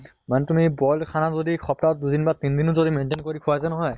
মানে তুমি boil খানা যদি সপ্তাহত দুদিন বা তিনিদিনো যদি maintain কৰি খোৱাগৈ নহয়